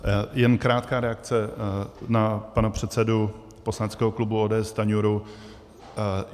Jen krátká reakce na pana předsedu poslaneckého klub ODS Stanjuru.